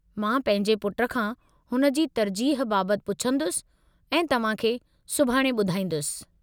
मां पंहिंजे पुट खां हुन जी तरजीह बाबति पुछन्दुसि ऐं तव्हां खे सुभाणे ॿधाईंदुसि।